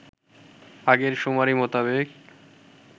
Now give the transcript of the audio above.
আগের শুমারি মোতাবেক